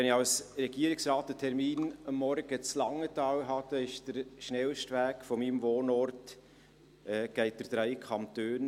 Wenn ich als Regierungsrat am Morgen in Langenthal einen Termin habe, führt der schnellste Weg von meinem Wohnort aus durch drei Kantone.